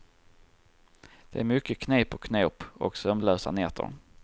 Det är mycket knep och knåp och sömnlösa nätter.